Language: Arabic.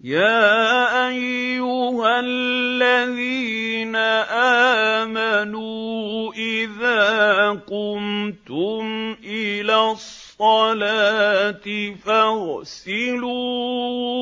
يَا أَيُّهَا الَّذِينَ آمَنُوا إِذَا قُمْتُمْ إِلَى الصَّلَاةِ فَاغْسِلُوا